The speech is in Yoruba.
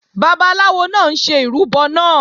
Babaláwo náà ń ṣe ìrúbọ náà